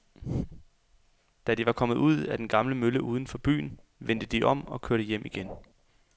Da de var kommet ud til den gamle mølle uden for byen, vendte de om og kørte hjem igen.